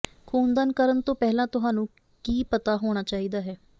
ਖੂਨ ਦਾਨ ਕਰਨ ਤੋਂ ਪਹਿਲਾਂ ਤੁਹਾਨੂੰ ਕੀ ਪਤਾ ਹੋਣਾ ਚਾਹੀਦਾ ਹੈ